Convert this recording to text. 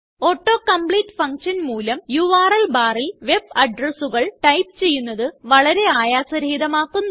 auto complete function മൂലം URL ബാറിൽ web addressകൾ ടൈപ്പ് ചെയ്യുന്നത് വളരെ ആയാസ രഹിതമാക്കുന്നു